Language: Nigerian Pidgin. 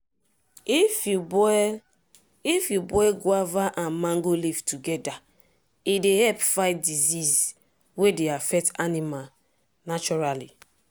if you boil if you boil guava and mango leaf together e dey help fight disease wey dey affect animal naturally.